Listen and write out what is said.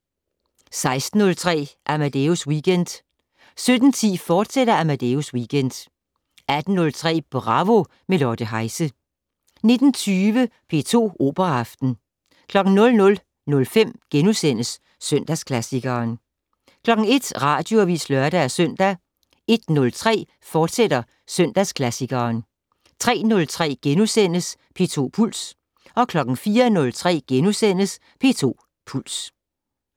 16:03: Amadeus Weekend 17:10: Amadeus Weekend, fortsat 18:03: Bravo - med Lotte Heise 19:20: P2 Operaaften 00:05: Søndagsklassikeren * 01:00: Radioavis (lør-søn) 01:03: Søndagsklassikeren, fortsat 03:03: P2 Puls * 04:03: P2 Puls *